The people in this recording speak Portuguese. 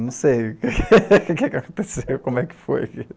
Não sei o que aconteceu, como é que foi.